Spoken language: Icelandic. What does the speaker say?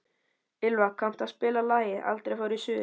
Ylva, kanntu að spila lagið „Aldrei fór ég suður“?